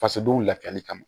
Fasodenw lafiyali kama